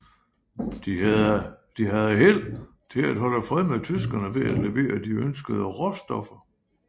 De havde held til at holde fred med tyskerne ved at levere de ønskede råstoffer